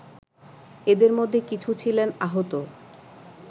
এদের মধ্যে কিছু ছিলেন আহত